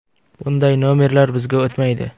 “Bunday ‘nomer’lar bizga o‘tmaydi”.